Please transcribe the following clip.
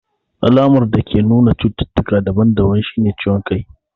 Alamar dake nuna cututtuka daban daban shine ciwon kai.